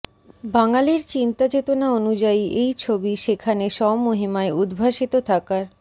বাঙালির চিন্তাচেতনা অনুযায়ী এই ছবি সেখানে স্বমহিমায় উদ্ভাসিত থাকার